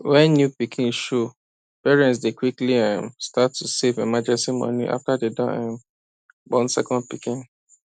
when new pikin show parents dey quickly um start to save emergency money after dem um born second pikin